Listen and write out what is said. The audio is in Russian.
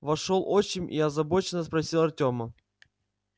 вошёл отчим и озабоченно спросил артёма